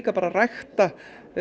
að rækta